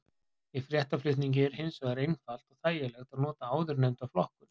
Í fréttaflutningi er hins vegar einfalt og þægilegt að nota áðurnefnda flokkun.